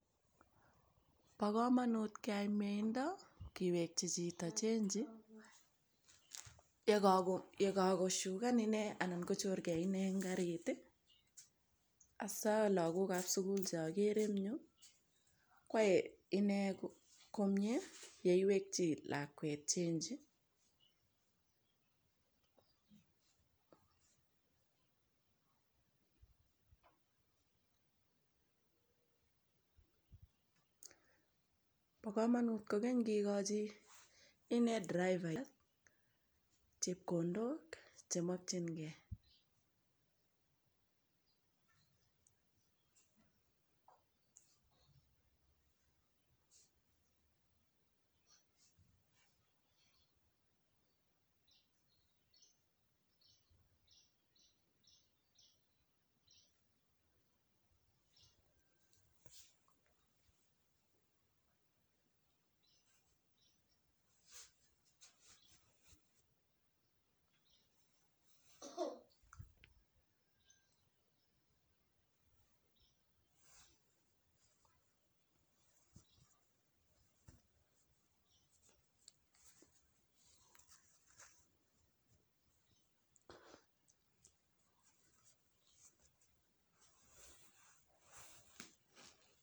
Bo kamanut keyai meindo kiwekyi chito chenji yekagoshugan inee anan kochorgei inee eng karit i. Asaa lagokab sugul che agere engyu kwae inee komiee yeiwekyi lakwet chanji. Bo kamanu kogany kigoji inee driver chepkondok chemakjingei.